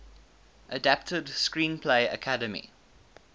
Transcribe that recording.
adapted screenplay academy